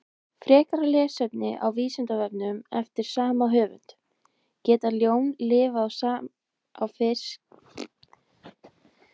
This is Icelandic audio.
Frekara lesefni á Vísindavefnum eftir sama höfund: Geta ljón lifað á fiski í lengri tíma?